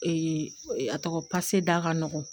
a tɔgɔ pase da ka nɔgɔn